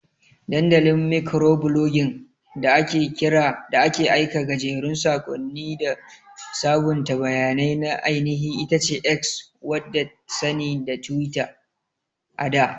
Dandalin Mikroblogging da ake aika gajerun sakonni da sabunta bayanai na ainihi itace X wadda sani da Twitter ada.